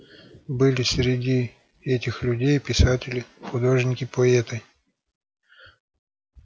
были среди этих людей и писатели художники поэты